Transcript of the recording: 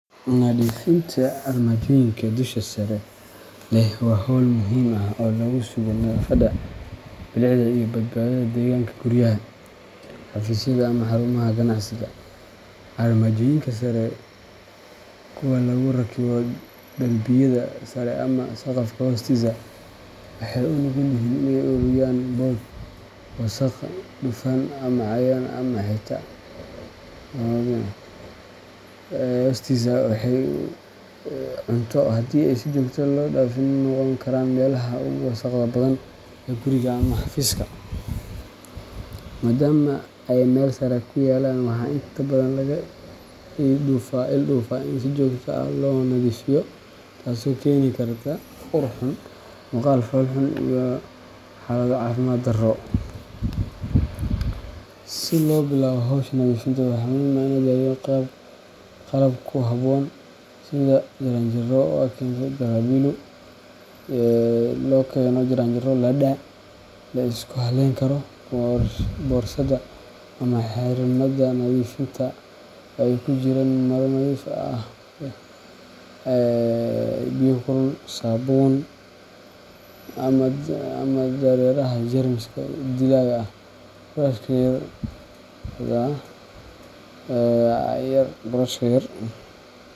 Nadiifinta armaajooyinka dusha sare leh waa hawl muhiim ah oo lagu sugo nadaafadda, bilicda, iyo badbaadada deegaanka guryaha, xafiisyada ama xarumaha ganacsiga. Armaajooyinka sare kuwa lagu rakibo darbiyada sare ama saqafka hoostiisa waxay u nugul yihiin inay ururiyaan boodh, wasakh, dufan, cayayaan ama xitaa haraaga cunto, taasoo haddii aan si joogto ah loo nadiifin ay noqon karaan meelaha ugu wasakhda badan ee guriga ama xafiiska. Maadaama ay meel sare ku yaallaan, waxaa inta badan laga ilduufaa in si joogto ah loo nadiifiyo, taasoo keeni karta ur xun, muuqaal fool xun, iyo xaalado caafimaad darro. Si loo bilaabo hawsha nadiifinta, waxaa muhiim ah in la diyaariyo qalab ku habboon, sida jaranjaro ladder mala isku halleyn karo, boorsada ama xirmada nadiifinta oo ay ku jiraan maro nadiif ah, biyo kulul, saabuun ama dareeraha jeermis dilaha ah, burush yar .